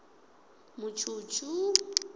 mutshutshu